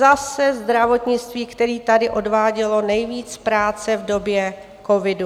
Zase zdravotnictví, které tady odvádělo nejvíc práce v době covidu.